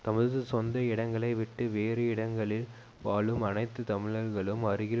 தமது சொந்த இடங்களை விட்டு வேறு இடங்களில் வாழும் அனைத்து தமிழர்களும் அருகில்